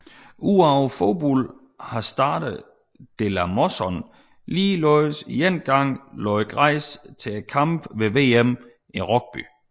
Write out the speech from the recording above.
Udover fodbold har Stade de la Mosson ligeledes én gang lagt græs til kampe ved VM i rugby